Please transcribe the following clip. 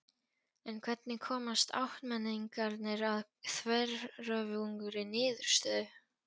En hvernig komast áttmenningarnir að þveröfugri niðurstöðu?